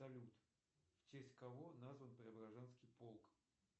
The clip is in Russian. салют в честь кого назван преображенский полк